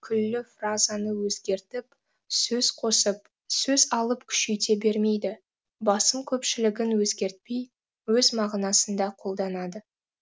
күллі фразаны өзгертіп сөз қосып сөз алып күшейте бермейді басым көпшілігін өзгертпей өз мағынасында қолданады